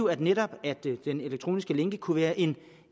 at netop den elektroniske lænke kunne være en